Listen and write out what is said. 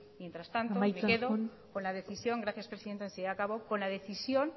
amaitzen joan mientras tanto me quedo con la decisión gracias señora presidenta enseguida acabo con la decisión